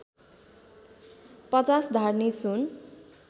५० धार्नी सुन